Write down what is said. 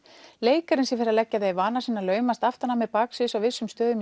leikarinn sem fer að leggja það í vana sinn að laumast aftan að mér baksviðs í vissum